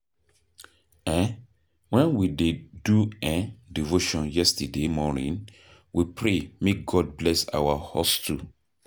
um Wen we dey do um devotion yesterday morning, we pray make God bless our hustle.